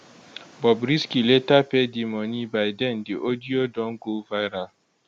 bobrisky later pay di money by den di audio don go viral